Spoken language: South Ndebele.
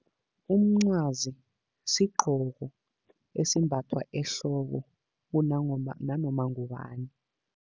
Umncwazi sigqoko esimbathwa ehloko nanoma ngubani.